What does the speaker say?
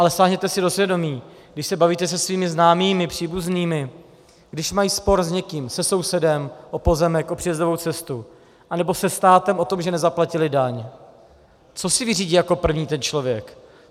Ale sáhněte si do svědomí, když se bavíte se svými známými, příbuznými, když mají spor s někým, se sousedem o pozemek, o příjezdovou cestu anebo se státem o tom, že nezaplatili daň, co si vyřídí jako první ten člověk?